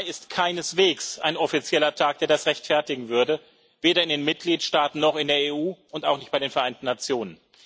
17. Mai ist keineswegs ein offizieller Tag, der das rechtfertigen würde, weder in den Mitgliedstaaten noch in der EU und auch nicht bei den Vereinten Nationen.